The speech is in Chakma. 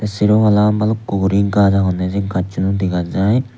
sero palla bhalukku guri gaj agonne se gachun u dega jiy.